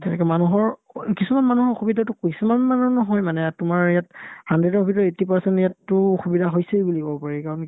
তেনেকে মানুহৰ অ কিছুমান মানুহৰ অসুবিধাতো কিছুমান মানুহৰ নহয় মানে ইয়াত তোমাৰ ইয়াত hundred ৰ ভিতৰত eighty percent ইয়াততো অসুবিধা হৈছেই বুলি ক'ব পাৰি কাৰণ কিয়